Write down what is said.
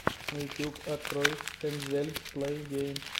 ютюб открой энзель плейгеймс